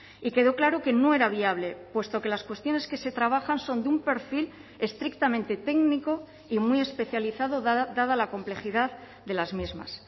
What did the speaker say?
y quedó claro que no era viable puesto que las cuestiones que se trabajan son de un perfil estrictamente técnico y muy especializado dada la complejidad de las mismas